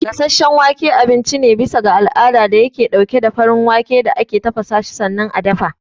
Gasasshen wake abinci ne bisa ga al'ada dayake ɗauke da farin wake da ake tafasashi sannan a dafa.